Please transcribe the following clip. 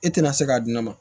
E tɛna se k'a di ne ma